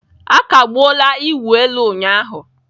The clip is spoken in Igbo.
A kagbuola ịwụ elu ụnyahụ.